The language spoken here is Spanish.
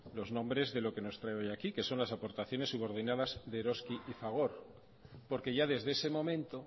los nombres de lo que nos trae hoy aquí que son las aportaciones subordinadas de eroski y fagor porque ya desde ese momento